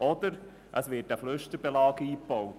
Oder es wird ein Flüsterbelag eingebaut.